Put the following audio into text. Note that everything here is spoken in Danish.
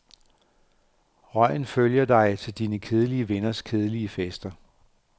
Røgen følger dig til dine kedelige venners kedelige fester.